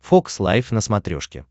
фокс лайв на смотрешке